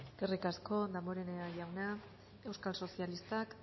eskerrik asko damborenea jauna euskal sozialistak